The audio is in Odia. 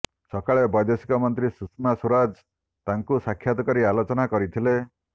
ସକାଳେ ବୈଦେଶିକ ମନ୍ତ୍ରୀ ସୁଷମା ସ୍ବରାଜ ତାଙ୍କୁ ସାକ୍ଷାତ କରି ଆଲୋଚନା କରିଥିଲେ